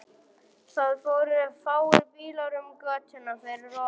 Það fóru fáir bílar um götuna fyrir ofan.